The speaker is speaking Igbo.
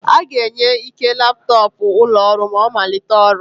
A ga-enye Ike laptọọpụ ụlọ ọrụ ma ọ malite ọrụ.